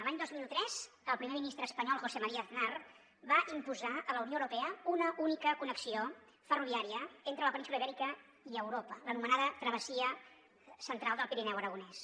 l’any dos mil tres el primer ministre espanyol josé maría aznar va imposar a la unió europea una única connexió ferroviària entre la península ibèrica i europa l’anomenada travessia central del pirineu aragonès